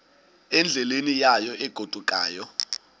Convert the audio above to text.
endleleni yayo egodukayo